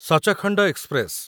Sachkhand express